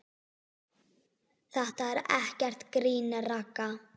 Þetta er ekkert grín, Ragga.